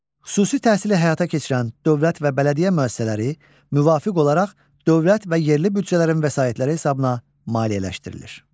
Xüsusi təhsili həyata keçirən dövlət və bələdiyyə müəssisələri müvafiq olaraq dövlət və yerli büdcələrin vəsaitləri hesabına maliyyələşdirilir.